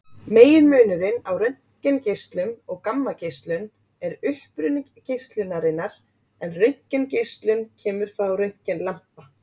Meginmunurinn á röntgengeislun og gammageislun er uppruni geislunarinnar en röntgengeislun kemur frá röntgenlampa.